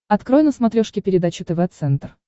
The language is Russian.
открой на смотрешке передачу тв центр